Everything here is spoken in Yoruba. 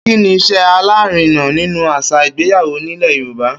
Kíni is̩é̩ alárinà nínú às̩à ìgbéyàwó nílè̩ Yorùba?